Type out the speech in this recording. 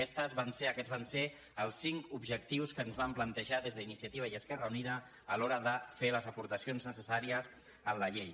aquests van ser els cinc objectius que ens vam plantejar des d’iniciativa i esquerra unida a l’hora de fer les aportacions necessàries a la llei